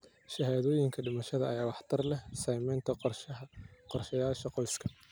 Shahaadooyinka dhimashada ayaa waxtar leh samaynta qorshayaasha qoyska.